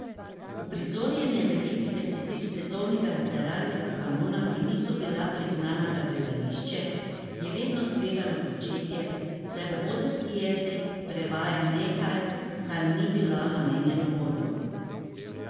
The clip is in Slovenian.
Uprizarjanje velikih besedil svetovnega literarnega kanona, ki niso bila pisana za gledališče, je vedno tvegano početje, saj v odrski jezik prevaja nekaj, kar ni bilo namenjeno odru.